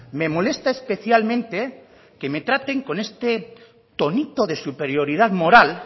me molesta especialmente que me traten con este tonito de superioridad moral